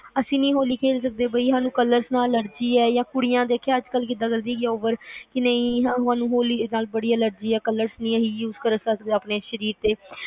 ਅਸੀਂ ਨੀ ਹੋਲੀ ਖੇਲ ਸਕਦੇ ਸਾਨੂੰ ਹੋਲੀ ਨਾਲ allergy ਆ ਜਿਵੇ ਕੁੜੀਆਂ ਦੇਖਿਆ ਅੱਜ ਕੱਲ ਜਿਵੇ ਕਰਦੀਆਂ ਨੇ over ਕਿ ਨਹੀਂ ਸਾਨੂੰ ਹੋਲੀ ਨਾਲ ਬੜੀ allergy ਆ ਅਸੀਂ colorsuses ਨਹੀਂ ਕਰ ਸਕਦੇ ਆਪਣੇ ਸ਼ਰੀਰ ਤੇ